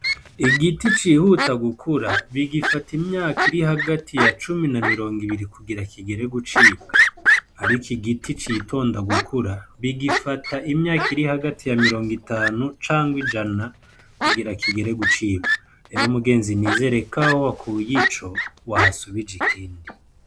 Igiti cihuta gukura bigifata imyaka iri hagati ya cumi na mirongo ibiri kugira kigere gucibwa. Ariko igiti citonda gukura bigifata imyaka iri hagati ya mirongo itanu canke ijana kugira kigere gucibwa. Rero mugenzi nizere ko aho wakuye ico wahasubije ikindi.